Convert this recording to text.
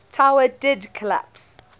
tower did collapse